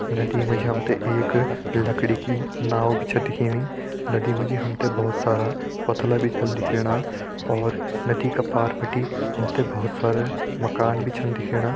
नदी मा जी हम तें एक लकड़ी की नाव भी छ दिखेणी नदी मा जी हम तें भोत सारा पोथला भी छन दिखेणा और नदी का पार बिटि हम ते भोत सारा मकान भी छन दिखेणा।